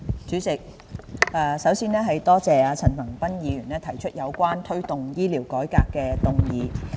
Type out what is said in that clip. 主席，首先，多謝陳恒鑌議員提出有關"推動醫療改革"的議案。